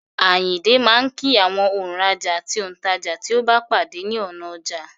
Àyìndé máa kí àwọn òǹrajà àti òǹtajà tí ó bá pàdé ní ọ̀nà ọjà.